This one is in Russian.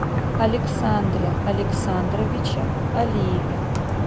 александре александровиче алиеве